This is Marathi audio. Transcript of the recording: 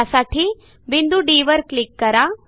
त्यासाठी बिंदू Dवर क्लिक करा